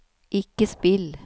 ikke spill